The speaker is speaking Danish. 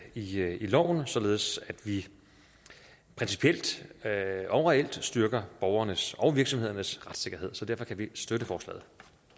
loven således at vi principielt overalt styrker borgernes og virksomhedernes retssikkerhed så derfor kan vi støtte forslaget